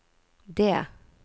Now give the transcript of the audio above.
det